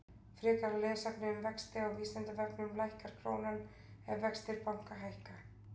Frekara lesefni um vexti á Vísindavefnum: Lækkar krónan ef vextir banka hækka?